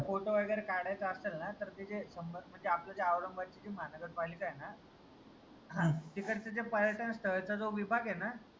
photo वगैरे काढायचा असलं ना तर ते जे शंभर म्हनजे आपलं जे औरंगाबादची जी महानगर पालिका आहे ना तिकडचे जे पर्यटन स्थळचा जो विभाग आहे ना